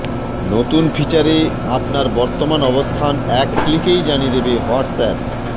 নতুন ফিচারে আপনার বর্তমান অবস্থান এক ক্লিকেই জানিয়ে দেবে হোয়াট্সঅ্যাপ